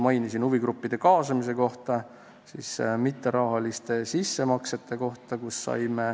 Mainiti huvigruppide kaasamist ja mitterahalisi sissemakseid.